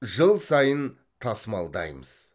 жыл сайын тасымалдаймыз